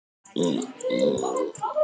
Steikin er örugglega brunnin upp til agna.